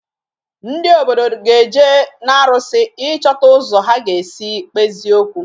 Ndị obodo ga-eje n'arụsị ịchọta ụzọ ha ga-esi kpezie okwu